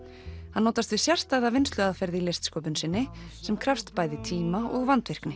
hann notast við sérstæða vinnsluaðferð í listsköpun sinni sem krefst bæði tíma og vandvirkni